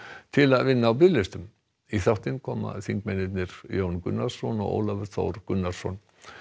til að vinna á biðlistum í þáttinn koma þingmennirnir Jón Gunnarsson og Ólafur Þór Gunnarsson